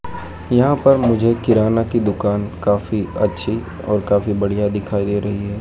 यहाँ पर मुझे किराना की दुकान काफी अच्छी और काफी बढ़िया दिखाई दे रही है।